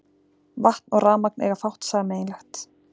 Vatn og rafmagn eiga fátt sameiginlegt.